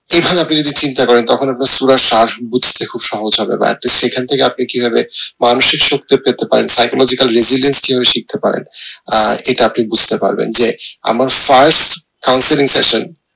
এখানে আপনি যদি চিন্তা করেন তখন আপনার সূরার সাস বুঝতে খুব সহজ হবে বা একটা সেখান থেকে আপনি কিভাবে মানুষের শিখতে পারেন আহ এটা আপনি বুঝতে পারবেন যে আমার first